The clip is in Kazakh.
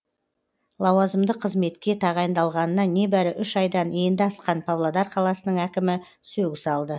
лауазымды қызметке тағайындалғанына небәрі үш айдан енді асқан павлодар қаласының әкімі сөгіс алды